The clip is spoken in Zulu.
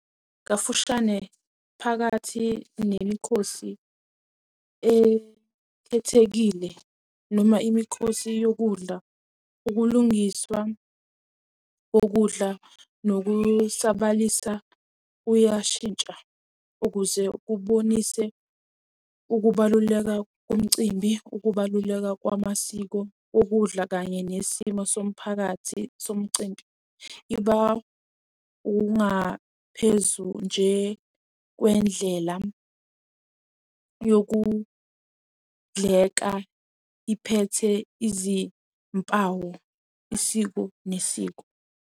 Kafushane phakathi nemikhosi ekhethekile noma imikhosi yokudla, ukulungiswa kokudla nokusabalalisa kuyashintsha ukuze kubonise ukubaluleka komcimbi, ukubaluleka kwamasiko okudla kanye nesimo somphakathi somcimbi. Iba ungaphezu nje kwendlela yokudleka iphethe izimpawu isiko nesiko.